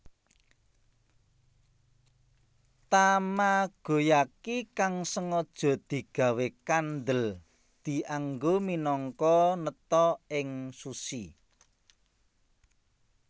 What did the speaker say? Tamagoyaki kang sengaja digawé kandhel dianggo minangka neta ing sushi